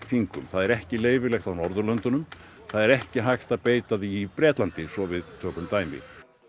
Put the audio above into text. þingum það er ekki leyfilegt á Norðurlöndunum það er ekki hægt að beita því í Bretlandi svo við tökum dæmi